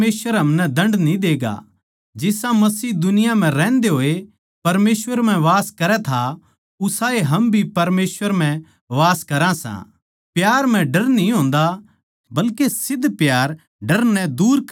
जै कोए कहवै मै परमेसवर तै प्यार करुँ सूं पर अपणे बिश्वासी भाई तै बैर राक्खै तो वो झूठ्ठा सै क्यूँके जो अपणे बिश्वासी भाई तै जिस ताहीं उसनै देख्या सै प्यार न्ही कर सकता तो वो परमेसवर तै भी जिस ताहीं उसनै न्ही देख्या प्यार न्ही कर सकता